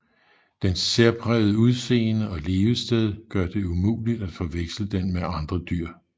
Dens særprægede udseende og levested gør det umuligt at forveksle den med andre dyr